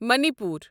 منی پور